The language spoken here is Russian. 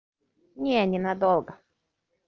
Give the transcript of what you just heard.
нет ненадолго